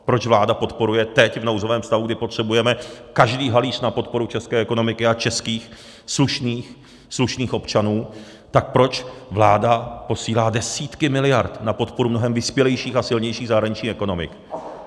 Proč vláda podporuje teď v nouzovém stavu, kdy potřebujeme každý halíř na podporu české ekonomiky a českých slušných občanů, tak proč vláda posílá desítky miliard na podporu mnohem vyspělejších a silnějších zahraničních ekonomik?